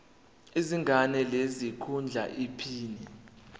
izinga lesikhundla iphini